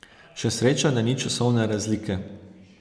Še sreča da ni časovne razlike.